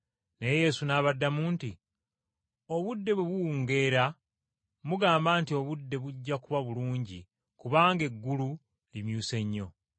Naye Yesu n’abaddamu nti, “Obudde bwe buwungeera mugamba nti, obudde bujja kuba bulungi kubanga eggulu limyuse nnyo.